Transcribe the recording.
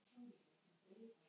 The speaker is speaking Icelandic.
Finnst þér þetta of mikið?